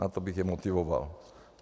Na to bych je motivoval.